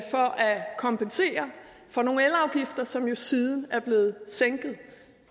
kompensere for nogle elafgifter som jo siden er blevet at sænke